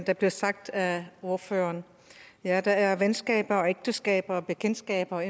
der blev sagt af ordføreren ja der er venskaber ægteskaber bekendtskaber